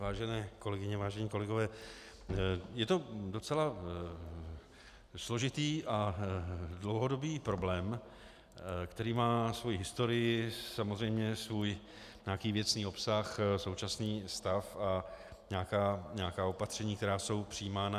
Vážené kolegyně, vážení kolegové, je to docela složitý a dlouhodobý problém, který má svoji historii, samozřejmě svůj nějaký věcný obsah, současný stav a nějaká opatření, která jsou přijímána.